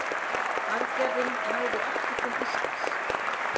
Aðgerðin náði ekki til Íslands.